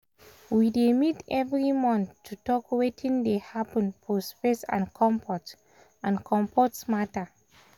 we dey meet every month to talk wetin dey happen for space and comfort and comfort matter.